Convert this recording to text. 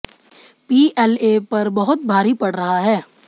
PLA पर बहुत भारी पड़ रहा है